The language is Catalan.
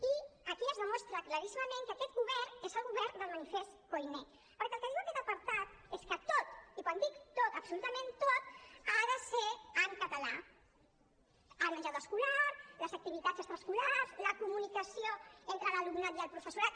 i aquí es demostra claríssimament que aquest govern és el govern del manifest koiné perquè el que diu aquest apartat és que tot i quan dic tot absolutament tot ha de ser en català el menjador escolar les activitats extraescolars la comunicació entre l’alumnat i el professorat